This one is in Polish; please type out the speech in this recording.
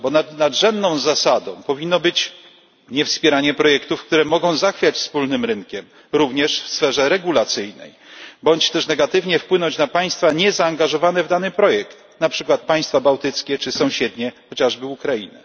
Bo nadrzędną zasadą powinno być niewspieranie projektów, które mogą zachwiać wspólnym rynkiem, również w sferze regulacyjnej, bądź też negatywnie wpłynąć na państwa niezaangażowane w dany projekt, na przykład państwa bałtyckie czy sąsiednie, chociażby Ukrainę.